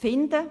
finden.